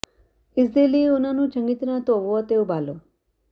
ਇਸਦੇ ਲਈ ਉਨ੍ਹਾਂ ਨੂੰ ਚੰਗੀ ਤਰ੍ਹਾਂ ਧੋਵੋ ਅਤੇ ਉਬਾਲੋ